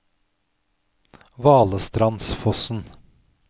Valestrandsfossen